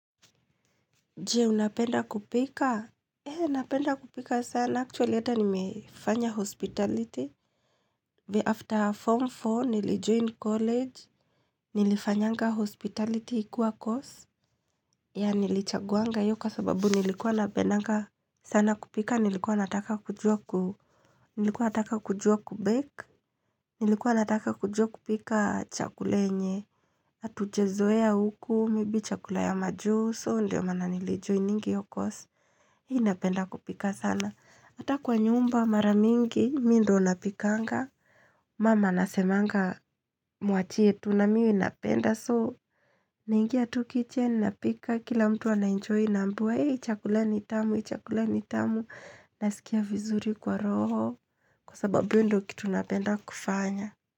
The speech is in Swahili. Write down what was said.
Je, unapenda kupika? Eh, napenda kupika sana. Actually, hata nimefanya hospitality. After form four, nilijoin college. Nilifanyanga hospitality ikiwa course. Yeah, nilichaguanga iyo kwa sababu nilikuwa napendanga sana kupika. Nilikuwa nataka kujua ku Nilikuwa nataka kujua ku bake. Nilikuwa nataka kujua kupika chakula yenye. Atujazoea huku, maybe chakula ya majuu so. Ndiyo maana nilijoiningi iyo course. Hii napenda kupika sana. Hata kwa nyumba mara mingi, mi ndo napikanga. Mum anasemanga mwachie tu na mimi napenda. So, naingia tu kitchen napika. Kila mtu anaenjoyi naambiwa. Hii, chakula ni tamu, chakula ni tamu. Nasikia vizuri kwa roho. Kwa sababu, iyo ndo kitu napenda kufanya.